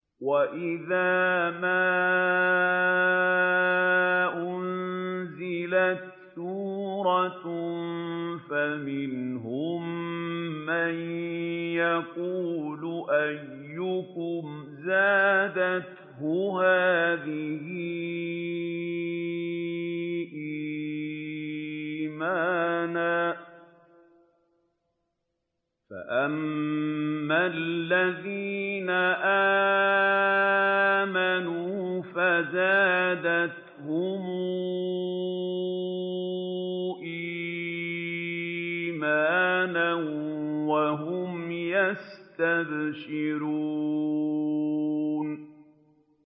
وَإِذَا مَا أُنزِلَتْ سُورَةٌ فَمِنْهُم مَّن يَقُولُ أَيُّكُمْ زَادَتْهُ هَٰذِهِ إِيمَانًا ۚ فَأَمَّا الَّذِينَ آمَنُوا فَزَادَتْهُمْ إِيمَانًا وَهُمْ يَسْتَبْشِرُونَ